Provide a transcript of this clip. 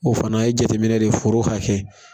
O fana ye jateminɛ de foro hakɛ kɛ.